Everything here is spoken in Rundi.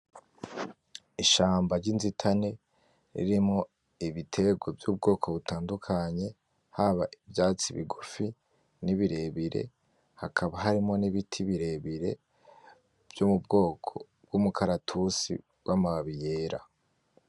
Ishamba ryinzitane ririmwo ibiterwa vyubwoko butandukanye, haba ivyatsi bigufi nibirebire, hakaba harimwo nibiti birebire vyo mubwoko mwumukaratusi wamababi yera